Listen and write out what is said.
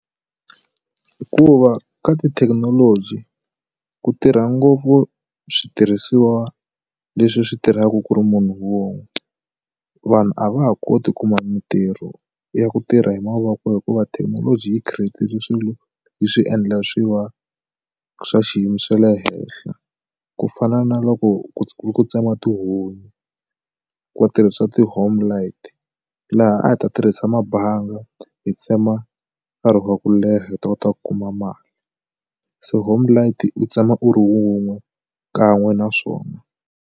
Hikuva ka tithekinoloji ku tirha ngopfu switirhisiwa leswi switirhaku ku ri munhu wun'we vanhu a va ha koti kuma mitirho ya ku tirha hi mavoko hikuva thekinoloji yi create-le swilo yi swi endla swi va swa xiyimo xa le henhla ku fana na loko ku tsema tihunyi va tirhisa ti homelight laha a hi ta tirhisa mabanga hi tsema nkarhi wa ku leha hi ta kota ku kuma mali se homelight u tsema u ri wun'we kan'we naswona.